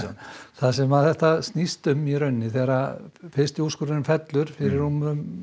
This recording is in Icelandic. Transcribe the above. það sem þetta snýst um í rauninni þegar fyrsti úrskurðurinn fellur fyrir rúmri